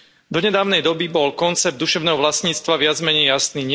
Do nedávnej doby bol koncept duševného vlastníctva viac menej jasný.